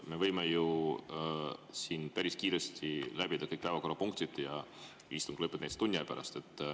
Me võime ju siin päris kiiresti läbida kõik päevakorrapunktid ja istung lõpeb näiteks tunni aja pärast.